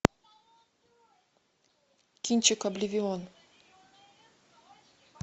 кинчик обливион